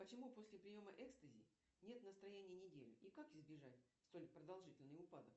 почему после приема экстази нет настроения неделю и как избежать столь продолжительный упадок